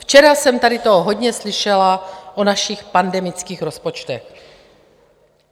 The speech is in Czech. Včera jsem tady toho hodně slyšela o našich pandemických rozpočtech.